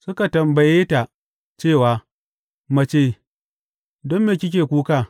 Suka tambaye ta cewa, Mace, don me kike kuka?